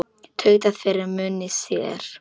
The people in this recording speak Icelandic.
Tautaði fyrir munni sér.